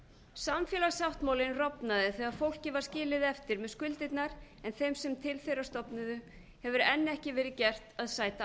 samfélagssáttmálinn rofnaði þegar fólkið var skilið eftir með skuldirnar en þeim sem til þeirra stofnuðu hefur enn ekki verið gert að sæta